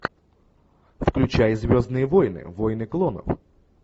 включай звездные войны войны клонов